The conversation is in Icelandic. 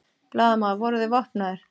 Blaðamaður: Voru þeir vopnaðir?